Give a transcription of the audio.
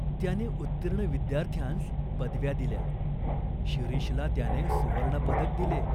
त्याने उत्तीर्ण विद्यार्थ्यांस पदव्या दिल्या. शिरीषला त्याने सुवर्णपदक दिले.